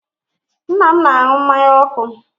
Nna m na-anụ mmanya ọkụ.